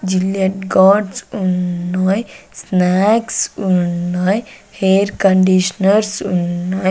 Gillette guards ఉన్నాయ్ snacks ఉన్నాయ్ hair conditioners ఉన్నాయ్.